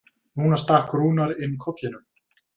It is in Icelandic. Núna stakk Rúnar inn kollinum.